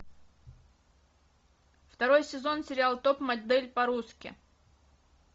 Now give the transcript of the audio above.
второй сезон сериала топ модель по русски